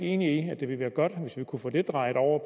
enig i at det ville være godt hvis vi kunne få det drejet over